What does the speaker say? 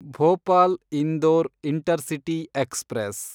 Bhopal Indore intercity express